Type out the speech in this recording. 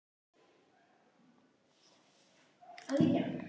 Þetta var sannkallaður þriðjudagur til þrautar.